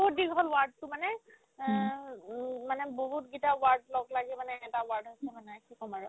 বহুত দিন হ'ল ward তো মানে আ উম মানে বহুত কেইটা ward লগলাগি মানে এটা ward হৈছে মানে কি ক'ম আৰু